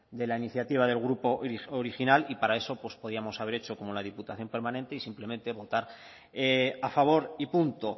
de la iniciativa del grupo original y para eso pues podíamos haber hecho como la diputación permanente y simplemente votar a favor y punto